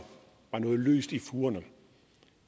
noget løst i fugerne